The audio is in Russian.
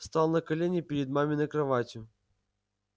встал на колени перед маминой кроватью